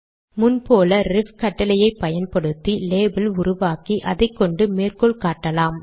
முன் போல் ரெஃப் கட்டளையை பயன்படுத்தி லேபல் உருவாக்கி அதை கொண்டு மேற்கோள் காட்டலாம்